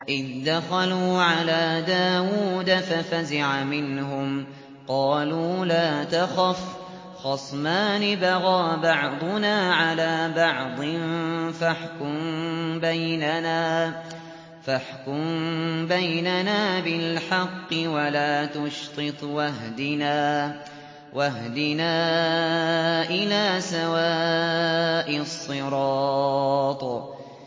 إِذْ دَخَلُوا عَلَىٰ دَاوُودَ فَفَزِعَ مِنْهُمْ ۖ قَالُوا لَا تَخَفْ ۖ خَصْمَانِ بَغَىٰ بَعْضُنَا عَلَىٰ بَعْضٍ فَاحْكُم بَيْنَنَا بِالْحَقِّ وَلَا تُشْطِطْ وَاهْدِنَا إِلَىٰ سَوَاءِ الصِّرَاطِ